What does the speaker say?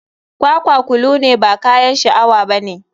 Kwakwa kolo ne ba kayan sha awa bane.